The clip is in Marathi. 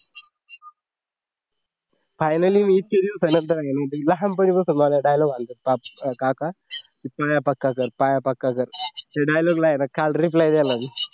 finally मी इतक्या दिवसानंतर नाहीतर लहानपणापासून माझ्या dialog आला होता काका पाया पक्का कर पाया पक्का कर त्या dialog ला आहे ना काल reply दिला मी